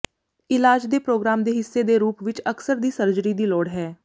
ਇਲਾਜ ਦੇ ਪ੍ਰੋਗਰਾਮ ਦੇ ਹਿੱਸੇ ਦੇ ਰੂਪ ਵਿੱਚ ਅਕਸਰ ਦੀ ਸਰਜਰੀ ਦੀ ਲੋੜ ਹੈ